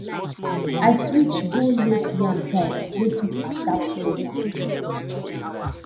i switch go late yam type wey fit adapt better